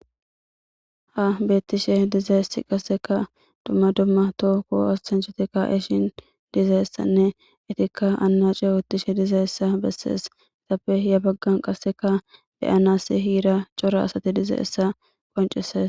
Ha beettishe dizayessi qaseka dumma dumma to ko assancitikka eshin dizayessanne itikka anna ce utishe diza essa bessees itappe ya baggan qasseka beyanas hiira cora asati diza essa qoncisees.